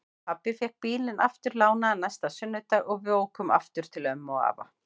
Pabbi fékk bílinn aftur lánaðan næsta sunnudag og við ókum aftur til ömmu og afa.